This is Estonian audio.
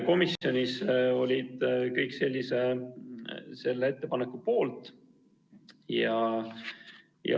Komisjonis olid kõik sellise selle ettepaneku poolt.